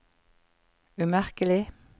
umerkelig